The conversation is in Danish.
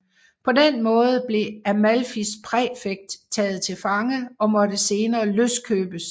På den måde blev Amalfis præfekt taget til fange og måtte senere løskøbes